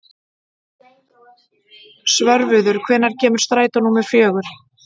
Svörfuður, hvenær kemur strætó númer fjögur?